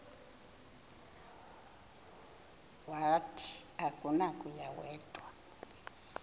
wathi akunakuya wedw